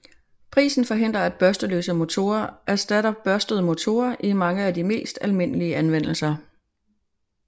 Prisen forhindrer at børsteløse motorer erstatter børstede motorer i mange af de mest almindelige anvendelser